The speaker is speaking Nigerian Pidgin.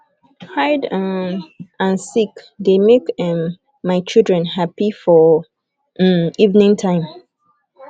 hide um and seek de make um my children happy for um evening time